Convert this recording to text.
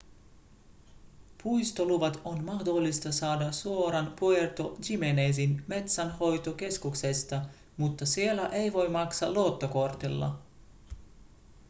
puistoluvat on mahdollista saada suoraan puerto jiménezin metsänhoitokeskuksesta mutta siellä ei voi maksaa luottokortilla